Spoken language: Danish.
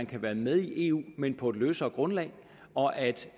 kan være med i eu men på et løsere grundlag og at